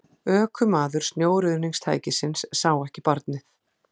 Ökumaður snjóruðningstækisins sá ekki barnið